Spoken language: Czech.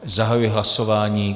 Zahajuji hlasování.